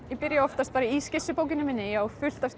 ég byrja oftast bara í skissubókinni minni ég á fullt af